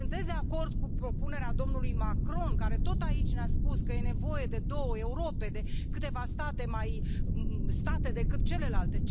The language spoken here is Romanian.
Sunteți de acord cu propunerea domnului Macron care, tot aici, ne a spus că e nevoie de două Europe, de câteva state mai state decât celelalte?